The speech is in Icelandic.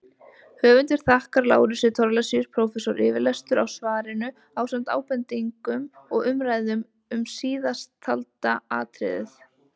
Höfundur þakkar Lárusi Thorlacius prófessor yfirlestur á svarinu ásamt ábendingum og umræðum um síðasttalda atriðið.